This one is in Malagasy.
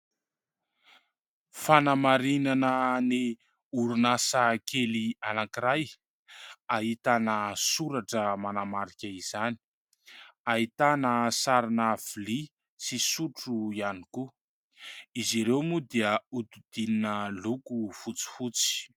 Fanamarihana ny orinasa kely anankiray, ahitana soratra manamarika izany, ahitana sarina lovia sy sotro ihany koa. Izy ireo moa dia nodidinina loko fotsifotsy.